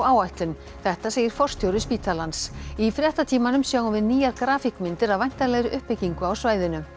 áætlun þetta segir forstjóri spítalans í fréttatímanum sjáum við nýjar af væntanlegri uppbyggingu á svæðinu